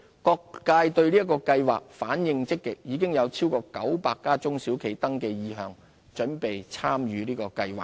各界對計劃反應積極，已有超過900家中小企登記意向，準備參與計劃。